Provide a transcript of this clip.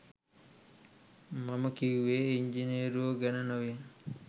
මම කිව්වේ ඉංජිනේරුවෝ ගැන නොවේ